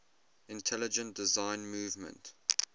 intelligent design movement